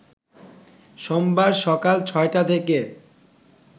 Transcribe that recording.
সোমবার সকাল ছটা থেকে